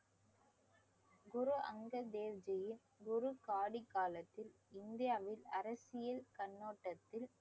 குரு அங்கர் தேவ்ஜியின் குரு காலத்தில் இந்தியாவில் அரசியல் கண்ணோட்டத்தில்